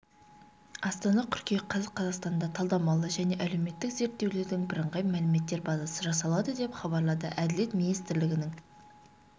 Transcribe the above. астана қыркүйек қаз қазақстанда талдамалы және әлеуметтік зерттеулердің бірыңғай мәліметтер базасы жасалады деп хабарлады әділет министрлігінің